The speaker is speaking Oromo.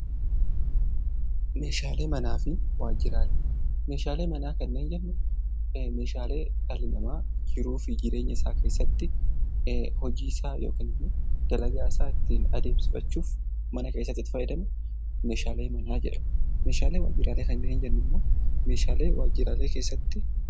Meeshaalee manaa fi waajiraalee Meeshaalee manaa kanneen jennu meeshaalee dhalli namaa jiruu fi jireenya isaa keessatti hojii isaa yookiin immoo dalagaa isaa ittiin adeemsifachuuf mana keessatti itti fayyadamu 'Meeshaalee manaa' jedhama. Meeshaalee waajjiraalee kanneen jennu immoo meeshaalee waajjiraalee keessatti